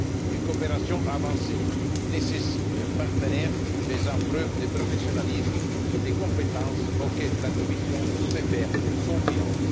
Une coopération avancée nécessite un partenaire faisant preuve de professionnalisme et de compétence, auquel la Commission peut faire confiance.